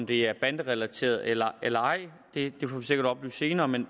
det er banderelateret eller eller ej det får vi sikkert oplyst senere men